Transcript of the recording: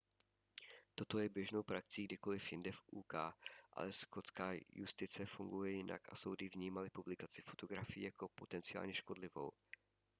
toto je běžnou praxí kdekoliv jinde v uk ale skotská justice funguje jinak a soudy vnímaly publikaci fotografií jako potencionálně škodlivou